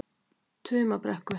Tumabrekku